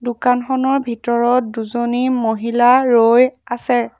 দোকানখনৰ ভিতৰত দুজনী মহিলা ৰৈ আছে।